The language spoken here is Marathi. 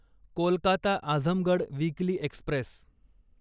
Kolkata Azamgarh weekly Express